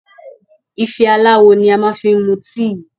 Ife aláwò ni a ma fi ń mu tíì.